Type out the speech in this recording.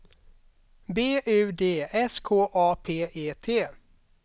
B U D S K A P E T